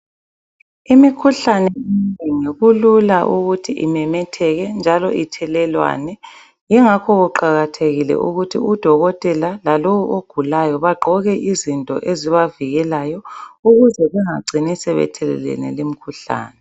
Imikhuhlane kulula ukuthi imemetheke njalo ithelelwane yingakho kuqakathekile ukuthi udokotela lalowo ogulayo bagqoke izinto ezibavikelayo ukuze bengacini sebethelelene limkhuhlane.